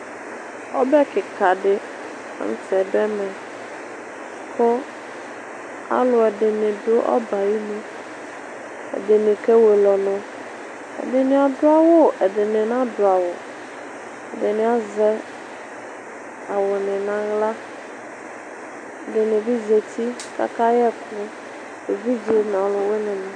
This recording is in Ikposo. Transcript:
Ɔbɛ kika di la n'tɛ dʋ ɛmɛ kʋ alʋ ɛdini dʋ ɔbɛ ayinu Ɛdini kewele ɔnʋ, ɛdini adʋ awʋ, adini na dʋ awʋ, ɛdini azɛ awʋni n'aɣla, ɛdini bi zati k'aka y'ɛkʋ, evidze n'ɔlʋwini ni